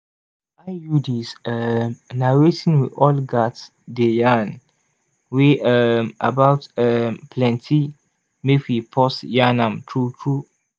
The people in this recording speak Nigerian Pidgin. iuds um na wetin we all gats dey yarn wey um about um plenti mek we pause yan am true true